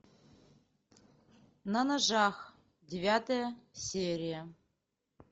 на ножах девятая серия